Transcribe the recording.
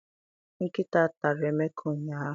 Nkịta tara Emeka ụnyaahụ.